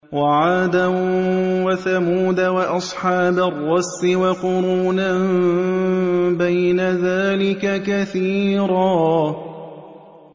وَعَادًا وَثَمُودَ وَأَصْحَابَ الرَّسِّ وَقُرُونًا بَيْنَ ذَٰلِكَ كَثِيرًا